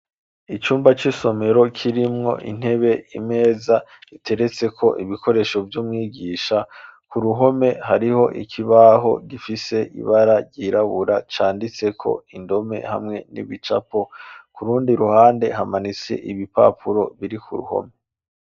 Icumba c'isomero, kirimwo intebe, imeza, giteretseko ibikoresho, vy'umwigisha; ku ruhome, hariho ikibaho, gifise ibara ryirabura, canditseko indome, hamwe n'ibicapo; ku rundi ruhande, hamanitse ibipapuro, biri ku ruhome.